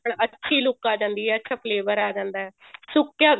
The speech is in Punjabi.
ਅੱਛੀ look ਆ ਜਾਂਦੀ ਹੈ ਅੱਛਾ flavor ਆ ਜਾਂਦਾ ਸੁੱਕਿਆ